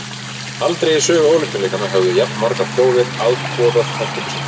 Aldrei í sögu Ólympíuleikanna höfðu jafnmargar þjóðir afboðað þátttöku sína.